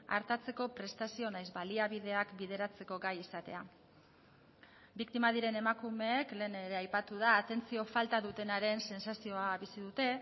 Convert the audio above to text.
artatzeko prestazio nahiz baliabideak bideratzeko gai izatea biktima diren emakumeek lehen ere aipatu da atentzio falta dutenaren sentsazioa bizi dute